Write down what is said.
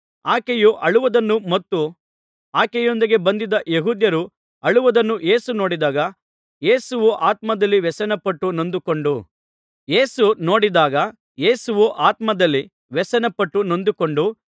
ಆಕೆಯು ಅಳುವುದನ್ನು ಮತ್ತು ಆಕೆಯೊಂದಿಗೆ ಬಂದಿದ್ದ ಯೆಹೂದ್ಯರು ಅಳುವುದನ್ನು ಯೇಸು ನೋಡಿದಾಗ ಯೇಸುವು ಆತ್ಮದಲ್ಲಿ ವ್ಯಸನಪಟ್ಟು ನೊಂದುಕೊಂಡು